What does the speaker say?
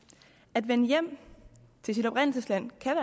at vende hjem til sit oprindelsesland kan